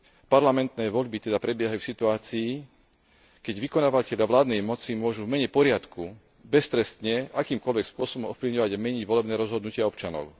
Parlamentné voľby teda prebiehajú v situácii, keď vykonávatelia vládnej moci môžu v mene poriadku beztrestne akýmkoľvek spôsobom ovplyvňovať a meniť volebné rozhodnutia občanov.